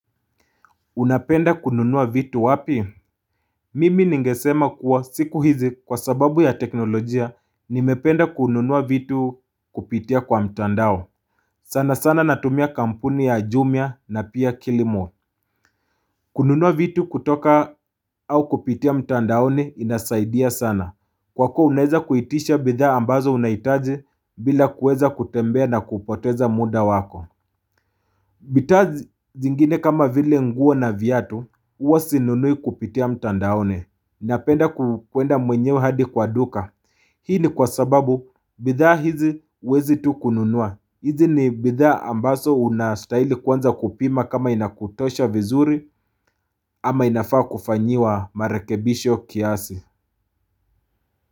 Unapenda kununua vitu wapi? Mimi ningesema kuwa siku hizi kwa sababu ya teknolojia nimependa kununua vitu kupitia kwa mtandao. Sana sana natumia kampuni ya jumia na pia kilimall. Kununua vitu kutoka au kupitia mtandaoni inasaidia sana. Kwa kuwa unaweza kuitisha bidha ambazo unahitaji bila kuweza kutembea na kupoteza muda wako. Bidhaa zingine kama vile nguo na viatu huwa sinunui kupitia mtandaoni Napenda kukwenda mwenyewe hadi kwa duka Hii ni kwa sababu bidhaa hizi huwezi tu kununua hizi ni bidhaa ambazo unastahili kwanza kupima kama inakutosha vizuri ama inafaa kufanyiwa marekebisho kiasi.